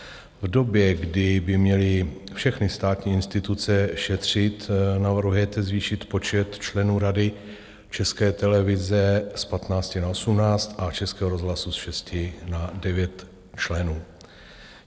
V době, kdy by měly všechny státní instituce šetřit, navrhujete zvýšit počet členů Rady České televize z 15 na 18 a Českého rozhlasu z 6 na 9 členů.